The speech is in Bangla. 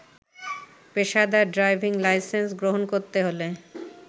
পেশাদার ড্রাইভিং লাইসেন্স গ্রহণ করতে হলে